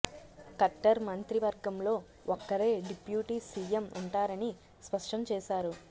ఖట్టర్ మంత్రి వర్గంలో ఒక్కరే డిప్యూటీ సీఎం ఉంటారని స్పష్టం చేశారు